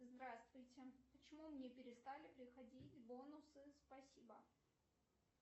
здравствуйте почему мне перестали приходить бонусы спасибо